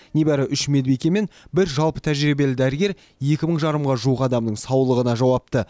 небәрі үш медбике мен бір жалпы тәжірибелі дәрігер екі мың жарымға жуық адамның саулығына жауапты